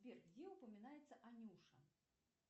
сбер где упоминается анюша